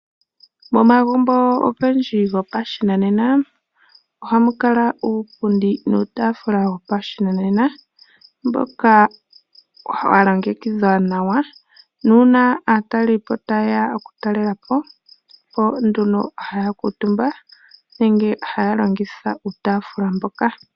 Omagumbo ogendji gopashinanena ohamukala iipundi niitafula yopashinanena mbyoka yalongekidhwa nawa , nuuna aatalelipo tayeya oku talelapo nduno ohaakutumba nenge ohaalongitha iitaafula mbyoka.